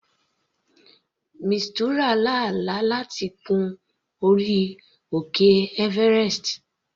Mistura lá àlá láti gun orí òkè everest.